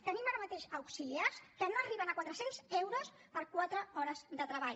tenim ara mateix auxiliars que no arriben a quatre cents euros per quatre hores de treball